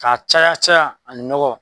K'a caya caya a nɔgɔ